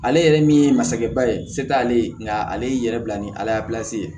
Ale yɛrɛ min ye masakɛba ye se t'ale ye nka ale y'i yɛrɛ bila ni ala ye ye